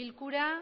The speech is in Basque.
bilkura